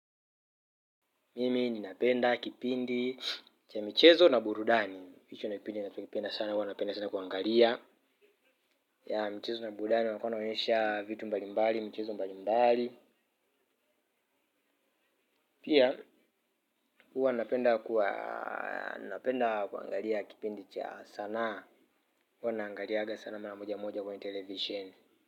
Mimi ninapenda kipindi cha michezo na burudani. Hicho ndicho kipindi ninachokipenda sana, huwa napenda sana kuangalia. Ya michezo na burudani walikuwa wanaonyesha vitu mbalimbali, michezo mbalimbali. Pia huwa napenda kuangalia kipindi cha sanaa. Huwa naangaliaga sana mara moja moja kwenye televisheni.